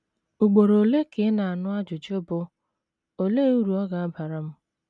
Ugboro ole ka ị na - anụ ajụjụ bụ́, “ Olee uru ọ ga - abara m? ”